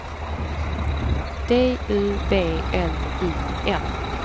D U B L I N